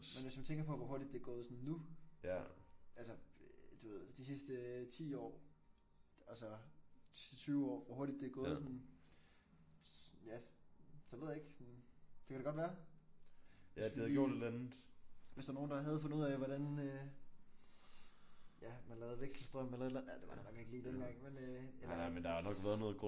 Men hvis man tænker på hvor hurtigt det er gået sådan nu altså du ved de sidste 10 år og så de sidste 20 år hvor hurtigt det er gået sådan ja det ved jeg ikke. Det kan da godt være. Hvis vi lige hvis der var nogen der havde fundet ud af hvordan øh ja man lavede vekselstrøm eller et eller andet det var der nok ikke lige dengang men øh eller